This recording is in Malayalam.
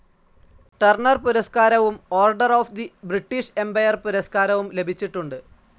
ടർണർ പുരസ്കാരവും Order of the British Empire പുരസ്കാരവും ലഭിച്ചിട്ടുണ്ട്.